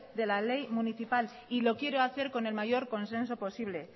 de la ley municipal y lo quiere hacer con el mayor consenso posible